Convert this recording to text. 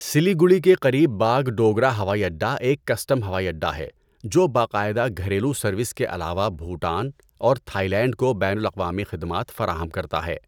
سلیگوڑی کے قریب باگڈوگرا ہوائی اڈہ ایک کسٹم ہوائی اڈہ ہے جو باقاعدہ گھریلو سروس کے علاوہ بھوٹان اور تھائی لینڈ کو بین الاقوامی خدمات فراہم کرتا ہے۔